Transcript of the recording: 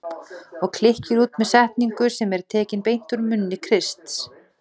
Og klykkir út með setningu sem er tekin beint úr munni Krists